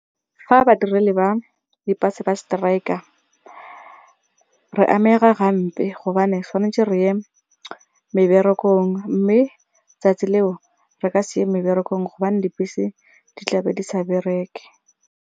Fa badiredi ba dibese ba strike-a re amega gampe gobane tshwanetse re ye meberekong mme 'tsatsi leo re ka se ye meberekong gobane dibese di tlabe di sa bereke.